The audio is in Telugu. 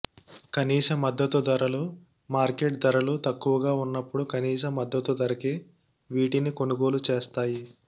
కనీస మద్దతు ధరలు మార్కెట్ ధరలు తక్కువగా ఉన్నప్పుడు కనీస మద్దతు ధరకే వీటిని కొనుగోలు చేస్తాయి